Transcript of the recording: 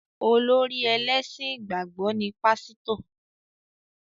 Olórí ẹlẹ́sìn ìgbàgbọ́ ni Pásítọ̀